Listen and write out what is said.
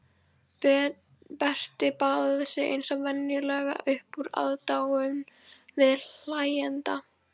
Berti baðaði sig eins og venjulega upp úr aðdáun viðhlæjenda.